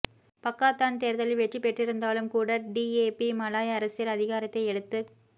Pakatan தேர்தலில் வெற்றி பெற்றிருந்தாலும் கூட டிஏபி மலாய் அரசியல் அதிகாரத்தை எடுத்துக்